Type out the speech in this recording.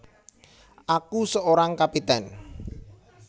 Aku Seorang Kapiten